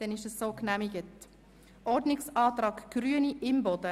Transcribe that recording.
Damit ist der Antrag stillschweigend genehmigt.